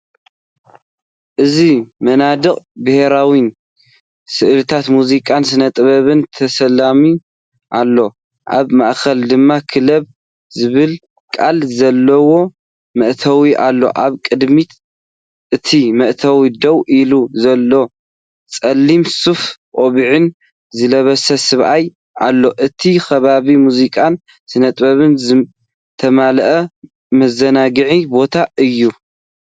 እዚ መናድቕ ብሕብራዊ ስእልታት ሙዚቃን ስነጥበብን ተሰሊሙ ኣሎ። ኣብ ማእከል ድማ “ክለብ” ዝብል ቃል ዘለዎ መእተዊ ኣሎ ኣብ ቅድሚ እቲ መእተዊ ደው ኢሉ ዘሎ ጸሊም ሱፍ ቆቢዕን ዝለበሰ ሰብኣይ ኣሎ። እቲ ከባቢ ብሙዚቃን ስነጥበብን ዝተመልአ መዘናግዒ ቦታእዩ።